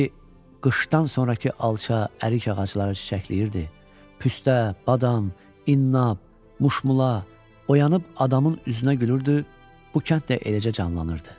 Necə ki qışdan sonrakı alça, ərik ağacları çiçəkləyirdi, püstə, badam, innab, muşmula oyanıb adamın üzünə gülürdü, bu kənd də eləcə canlanırdı.